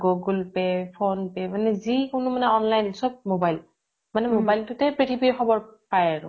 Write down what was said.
google pay phone pay মানে যি কোনো মানে online চব mobile, মানে mobile টোতে পৃথিৱীৰ খবৰ পায় আৰু।